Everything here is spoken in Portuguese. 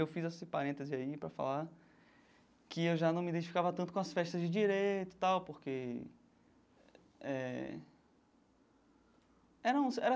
Eu fiz esse parêntese aí para falar que eu já não me identificava tanto com as festas de direito, tal porque eh... Eram era...